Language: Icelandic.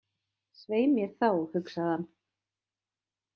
Svei mér þá, hugsaði hann.